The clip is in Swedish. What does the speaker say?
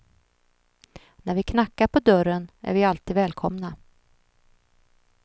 När vi knackar på dörren är vi alltid välkomna.